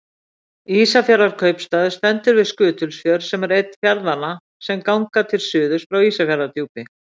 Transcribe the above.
Ísafjarðarkaupstaður stendur við Skutulsfjörð sem er einn fjarðanna sem ganga til suðurs frá Ísafjarðardjúpi.